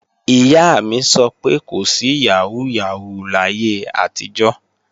Ìyá mi sọ pé kò sí yàhóó yàhóó láyé àtijọ́